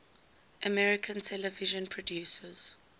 american television producers